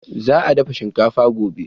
Za a dafa shinkafar gobe.